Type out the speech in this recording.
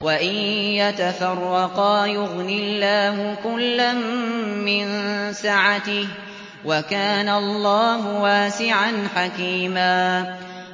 وَإِن يَتَفَرَّقَا يُغْنِ اللَّهُ كُلًّا مِّن سَعَتِهِ ۚ وَكَانَ اللَّهُ وَاسِعًا حَكِيمًا